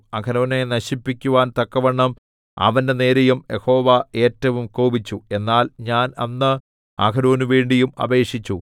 അഹരോനെ നശിപ്പിക്കുവാൻ തക്കവണ്ണം അവന്റെ നേരെയും യഹോവ ഏറ്റവും കോപിച്ചു എന്നാൽ ഞാൻ അന്ന് അഹരോനുവേണ്ടിയും അപേക്ഷിച്ചു